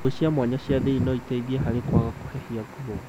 Nguo cia mwanya cia thĩ-iniĩ no iteithie harĩ kwaga kũhehia nguo